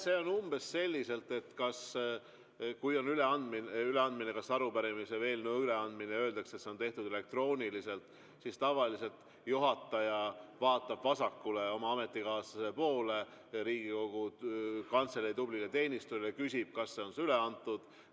See on umbes selliselt, et kui on kas arupärimise või eelnõu üleandmine ja öeldakse, et seda on tehtud elektrooniliselt, siis tavaliselt juhataja vaatab vasakule oma ametikaaslase poole, Riigikogu Kantselei tublide teenistujate ja küsib, kas see on üle antud.